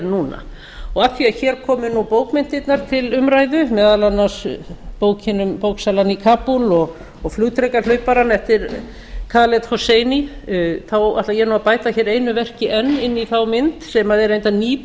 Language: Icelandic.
núna af því að hér komu bókmenntirnar til umræðu meðal annars bókin um bóksalann í kabúl og flugdrekahlauparann eftir ætla ég nú að bæta hér einu verki enn inn í þá mynd sem er reyndar ný bók